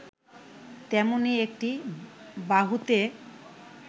তেমনি একটি বাহুতে